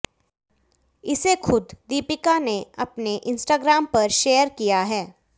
इसे खुद दीपिका ने अपने इंस्टाग्राम पर शेयर किया है